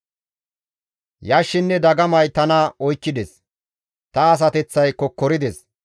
Yashshinne dagamay tana oykkides; ta asateththay kokkorides.